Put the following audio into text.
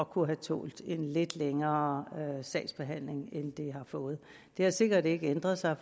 kunne have tålt en lidt længere sagsbehandling end de har fået det har sikkert ikke ændret sig